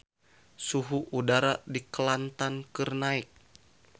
Suhu udara di Kelantan keur naek